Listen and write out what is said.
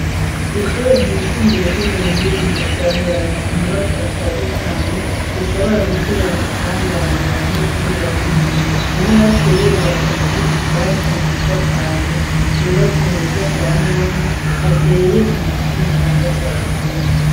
Ishure ry'isumbuye ryo mu Ruhinga ryahorana inyubakwa ishaje cane ishobora gutera amasanganya abanyeshuri bahiga none baciye bubaka izindi shasha nziza cane zubatswe mu buryo bwa none hateye ibiti bitanga akayaga keza.